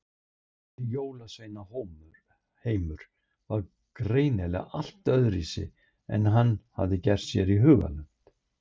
Þessi jólasveinaheimur var greinilega allt öðruvísi en hann hafði gert sér í hugarlund.